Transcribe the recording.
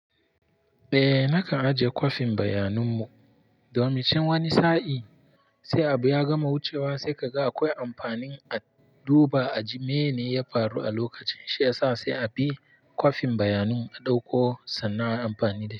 Eh, nakan ajiye kwafin bayanin mu. Domin can wani sa'in sai abu ya gama wucewa sai kaga akwai amfanin a duba a ji meye ne ya faru a lokacin, shi ya sa sai a bi kwafin bayanin a ɗauko sannan ayi amfanin da shi.